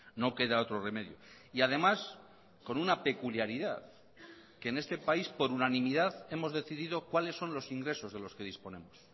no queda otro remedio y además con una peculiaridad que en este país por unanimidad hemos decidido cuáles son los ingresos de los que disponemos